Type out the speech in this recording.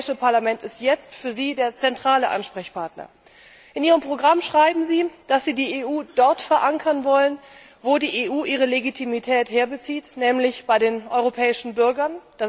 das Europäische Parlament ist jetzt für Sie der zentrale Ansprechpartner. In Ihrem Programm schreiben Sie, dass Sie die EU dort verankern wollen, wo die EU ihre Legitimität her bezieht, nämlich bei den europäischen Bürgern.